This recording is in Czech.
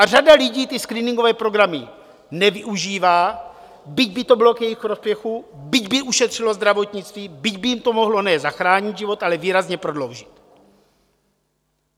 A řada lidí ty screeningové programy nevyužívá, byť by to bylo k jejich prospěchu, byť by ušetřilo zdravotnictví, byť by jim to mohlo ne zachránit život, ale výrazně prodloužit.